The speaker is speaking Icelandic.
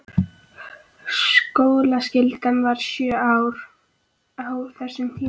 Skólaskyldan var sjö ár á þessum tíma.